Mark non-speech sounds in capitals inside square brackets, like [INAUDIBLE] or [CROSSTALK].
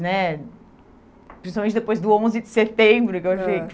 né Principalmente depois do onze de setembro. [UNINTELLIGIBLE]